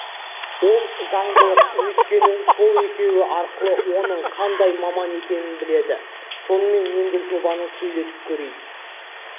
ол заңдылық өйткені сол екеуі арқылы оның қандай маман екенін біледі сонымен енді жобаны сөйлетіп көрейік